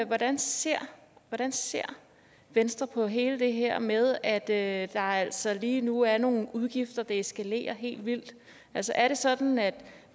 hvordan ser hvordan ser venstre på hele det her med at der altså lige nu er nogle udgifter og det eskalerer helt vildt altså er det sådan at